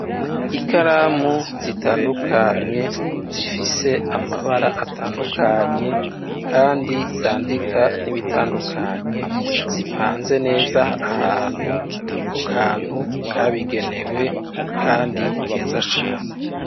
Ikaramu zitandukanye zifise amabara atandukanye, kandi zandika n'ibitandukanye, zipanze neza ahantu kukantu kabigenewe, kandi keza cane.